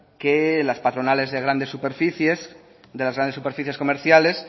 que las patronales de las grandes superficies comerciales